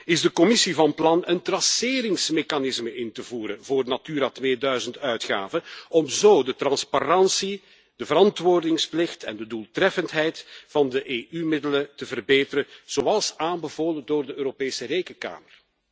Is de Commissie van plan een traceringsmechanisme in te voeren voor Natura 2000 uitgaven, om zo de transparantie, de verantwoordingsplicht en de doeltreffendheid van de EU middelen te verbeteren, zoals aanbevolen door de Europese Rekenkamer?